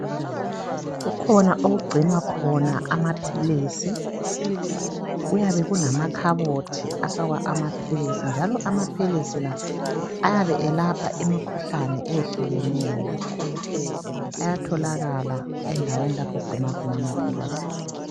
Kukhona okugcinwa khona amaphilisi. Kuyabekulamakhabothi afakwa amaphilisi. Njalo amaphilisi la ayabe elapha imikhuhlane ehlukeneyo. Ayatholakala endaweni la okugcinwa khona amaphilisi.